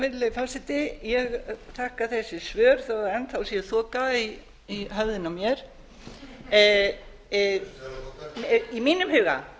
virðulegi forseti ég þakka þessi svör þó enn þá sé þoka í höfðinu á mér í mínum huga